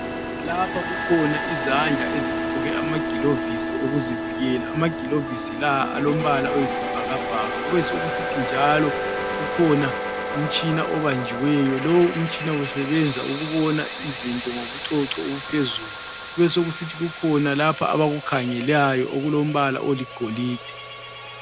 Lapha kukhona izandla ezigqoke amagilovisi okuzivikela. Amagilovisi la alombala oyisibhakabhaka kubesokusithi njalo ukhona umtshina obanjiweyo. Lo umtshina usebenza ukubona izinto ngobucoco obuphezulu. Besokusithi kukhona lapha abakukhangelayo okulombala oligolide.